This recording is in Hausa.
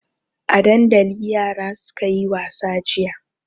A dandali yara suka yi wasa jiya.